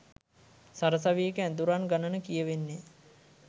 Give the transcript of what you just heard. සරසවියක ඇදුරන් ගණන කියවෙන්නෙ